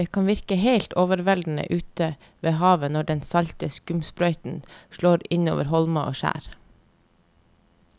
Det kan virke helt overveldende ute ved havet når den salte skumsprøyten slår innover holmer og skjær.